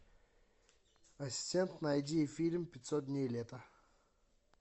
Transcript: ассистент найди фильм пятьсот дней лета